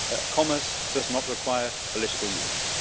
Commerce does not require political union.